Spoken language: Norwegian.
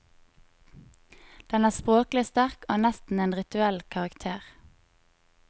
Den er språklig sterk og har nesten en rituell karakter.